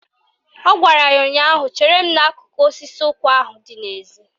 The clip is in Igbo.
Ọ gwara ya ụnyaahụ "Chere m n'akụkụ osisi ụkwa ahụ dị n'ezi!